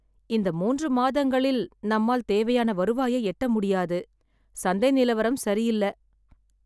இந்த மூன்று மாதங்களில் நம்மால் தேவையான வருவாயை எட்ட முடியாது. சந்தை நிலவரம் சரியில்ல.